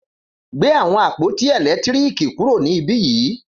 Gbé àwọn àpótí èlétírìkì kúrò ní ibí yìí